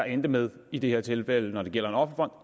endte med i det her tilfælde hvor det gælder